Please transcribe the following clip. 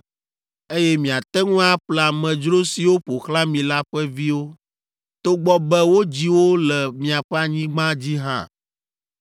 eye miate ŋu aƒle amedzro siwo ƒo xlã mi la ƒe viwo, togbɔ be wodzi wo le miaƒe anyigba dzi hã.